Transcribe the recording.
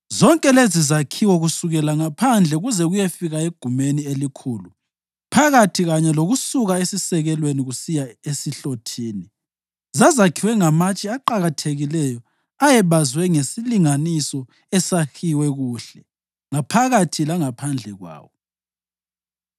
Zonke lezizakhiwo, kusukela ngaphandle kuze kuyefika egumeni elikhulu phakathi kanye lokusuka esisekelweni kusiya esihlothini, zazakhiwe ngamatshe aqakathekileyo ayebazwe ngesilinganiso esahiwe kuhle ngaphakathi langaphandle kwawo.